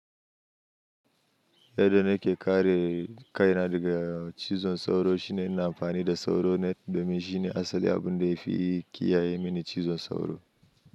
Yadda nake ƙare kaina daga cizon sauro shine ina amfani da sauro net domin shine asali abunda yafi kiyaye mini cizon sauro.